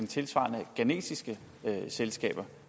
tilsvarende ghanesiske selskaber